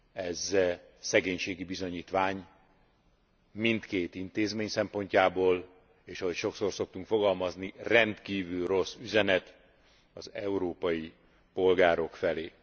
ez szegénységi bizonyítvány mindkét intézmény szempontjából, és ahogy sokszor szoktunk fogalmazni, rendkívül rossz üzenet az európai polgárok felé.